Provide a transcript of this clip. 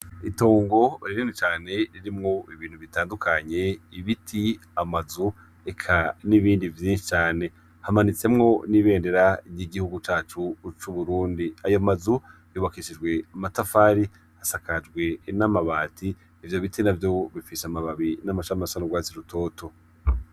Itongo rirene cane ririmwo ibintu bitandukanye ibiti amazu eka n'ibindi vyinshi cane hamanitsemwo n'ibendera ry'igihugu cacu c'uburundi ayo mazu bubakishijwe matafari asakajwe n'amabati ivyo biti na vyo bifisha amababi n'amacamasaraurwazi rutoto.